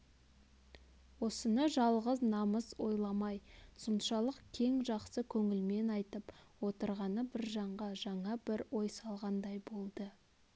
осыны жалғыз намыс ойламай соншалық кең жақсы көңілмен айтып отырғаны біржанға жаңа бір ой салғандай болды